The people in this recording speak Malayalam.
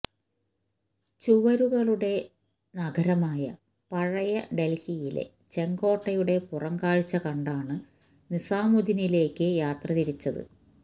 ചുവരുകളുടെ നഗരമായ പഴയ ഡൽഹിയിലെ ചെങ്കോട്ടയുടെ പുറംകാഴ്ച കണ്ടാണ് നിസാമുദ്ദീനിലേക്ക് യാത്ര തിരിച്ചത്